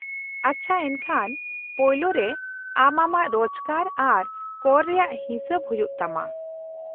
-ᱟᱪᱪᱷᱟ, ᱮᱱᱠᱷᱟᱱ ᱯᱳᱭᱞᱳ ᱨᱮ ᱟᱢ ᱟᱢᱟᱜ ᱨᱚᱡᱠᱟᱨ ᱟᱨ ᱠᱚᱨ ᱨᱮᱭᱟᱜ ᱦᱤᱥᱟᱹᱵ ᱦᱩᱭᱩᱜ ᱛᱟᱢᱟ ᱾